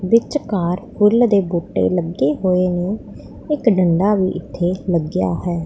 ਵਿੱਚਕਾਰ ਫੁੱਲ ਦੇ ਬੂਟੇ ਲੱਗੇ ਹੋਏ ਨੇ ਇੱਕ ਡੰਡਾ ਵੀ ਇੱਥੇ ਲੱਗਿਆ ਹੈ।